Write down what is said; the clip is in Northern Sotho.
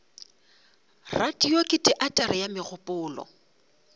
radio ke teatere ya mogopolo